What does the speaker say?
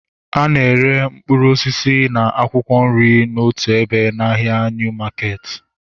A na-ere mkpụrụ osisi na akwụkwọ nri otu ebe na ahịa Niu maketi